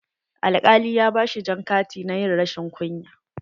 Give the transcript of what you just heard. Alƙali ya ba shi jan kati na ƴin rashin kunya.